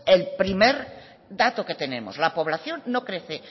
el primer dato que tenemos la población no crece